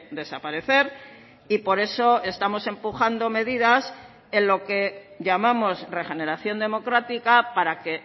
desaparecer y por eso estamos empujando medidas en lo que llamamos regeneración democrática para que